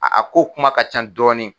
A ko kuma ka ca dɔɔni.